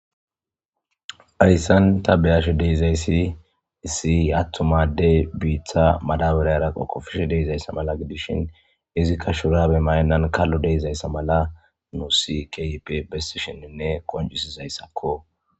Ayssan ta beyash deizayssi issiy attumadey biitha madawure raqoqofishe deizayssa mala gidishin izikka shurabe maynnan kallo deizayssa mala nuu sikip bessi shinninne qoncisizayssakko.